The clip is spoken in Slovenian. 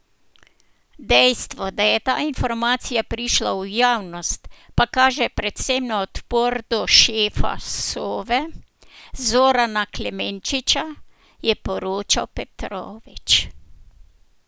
Dejstvo, da je ta informacija prišla v javnost, pa kaže predvsem na odpor do šefa Sove, Zorana Klemenčiča, je poročal Petrovič.